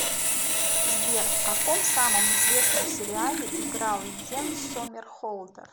сбер в каком самом известном сериале играл йен сомерхолдер